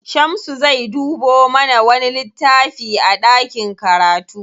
Shamsu zai dubo mana wani littafi a ɗakin karatu.